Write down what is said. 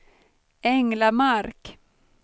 Änglamark